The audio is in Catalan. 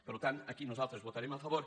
per tant aquí nosaltres hi votarem a favor